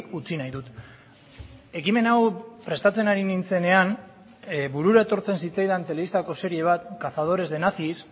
utzi nahi dut ekimen hau prestatzen ari nintzenean burura etortzen zitzaidan telebistako serie bat cazadores de nazis